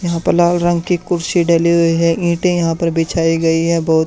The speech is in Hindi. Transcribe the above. यहां पर लाल रंग की कुर्सी डली हुई है इंटे यहां पर बिछाई गई है बहुत--